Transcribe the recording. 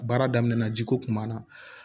Baara daminɛ na ji ko kun b'a na